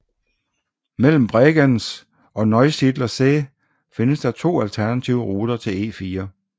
Mellem Bregenz og Neusiedler See findes der to alternative ruter til E4